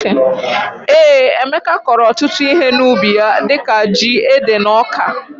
Ee Emeka kọro ọtụtụ ihe na ubi ya dika jị ,ede na ọka.